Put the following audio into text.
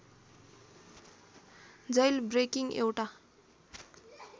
jailbreaking एउटा